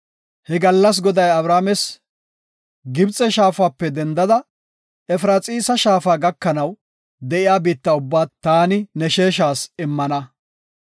He gallas Goday Abrames, “Gibxe shaafape doomidi Efraxiisa shaafa gakanaw de7iya biitta ubbaa taani ne sheeshas immana.